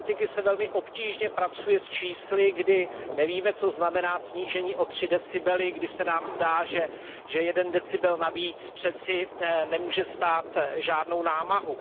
Politikům se velmi obtížně pracuje s čísly, když nevíme, co znamená snížení o 3 decibely, kdy se nám zdá, že 1 decibel navíc přeci nemůže stát žádnou námahu.